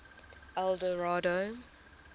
eldorado